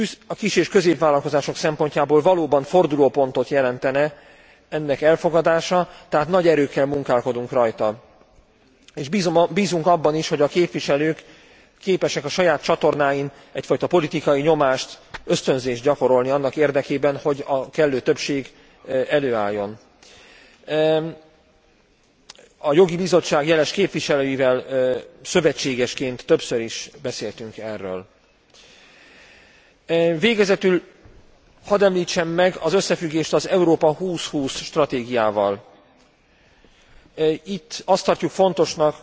A kis és középvállalkozások szempontjából valóban fordulópontot jelentene ennek elfogadása, tehát nagy erőkkel munkálkodunk rajta, és bízunk abban is, hogy a képviselők képesek a saját csatornáikon egyfajta politikai nyomást, ösztönzést gyakorolni annak érdekében, hogy a kellő többség előálljon. A Jogi Bizottság jeles képviselőivel szövetségesként többször is beszéltünk erről. Végezetül hadd említsem meg az összefüggést az Európa 2020 stratégiával. Itt azt tartjuk fontosnak,